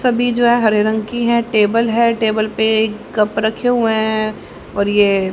सभी जो है हरे रंग की है टेबल है टेबल पर एक कप रखे हुए हैं और यह।